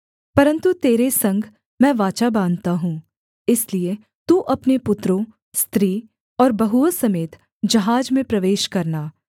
परन्तु तेरे संग मैं वाचा बाँधता हूँ इसलिए तू अपने पुत्रों स्त्री और बहुओं समेत जहाज में प्रवेश करना